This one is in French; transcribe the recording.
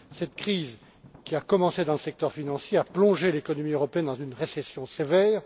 Cette crise, qui a commencé dans le secteur financier, a plongé l'économie européenne dans une récession sévère.